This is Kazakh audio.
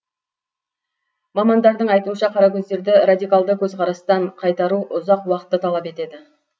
мамандардың айтуынша қаракөздерді радикалды көзқарастан қайтару ұзақ уақытты талап етеді